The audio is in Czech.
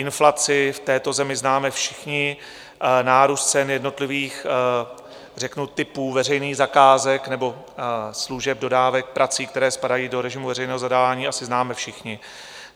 Inflaci v této zemi známe všichni, nárůst cen jednotlivých řeknu typů veřejných zakázek nebo služeb, dodávek prací, které spadají do režimu veřejného zadání, asi známe všichni.